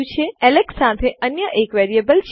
આપણી પાસે અહીં એલેક્સ સાથે અન્ય એક વેરીએબલ ચલ છે